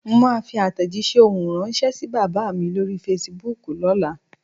Mo máa fi àtèjísé ohùn ránsẹ́ sí bàbá mi lórí Fasibúùkù lóla